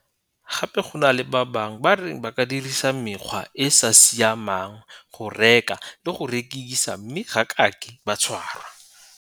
Gape go na le ba bangwe ba reng ba ka dirisa mekgwa e e sa saimeng go reka le go rekisa mme ga kake ba tshwarwa.